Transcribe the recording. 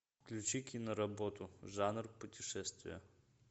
включи киноработу жанр путешествия